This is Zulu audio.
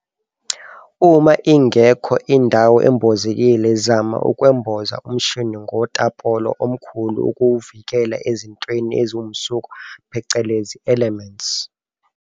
Uma ingekho indawo embozekile zama ukwemboza umshini ngotapolo omkhulu ukuwuvikela ezintweni eziwumsuka phecelezi elements.